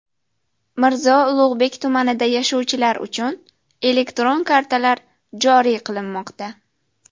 Mirzo Ulug‘bek tumanida yashovchilar uchun elektron kartalar joriy qilinmoqda.